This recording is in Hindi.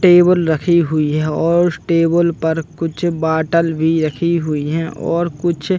टेबल रखी हुई है और इस टेबल पर कुछ बॉटल भी रखी हुई है और कुछ --